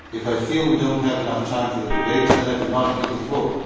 If I feel we do not have enough time for the debate then I do not give the floor.